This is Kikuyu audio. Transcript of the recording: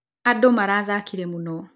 Andũ marathakire mũno